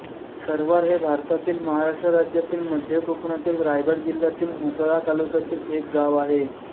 सरवार हे भारतातील महाराष्ट्र राज्यातील मध्य कोकणातील रायगड जिल्ह्यातील म्हसळा तालुक्यातील एक गाव आहे